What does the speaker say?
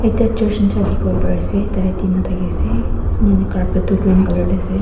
ekta church nishina dikipo pari asae tadae oti na dikiasae yatae carpet toh green color dae asae.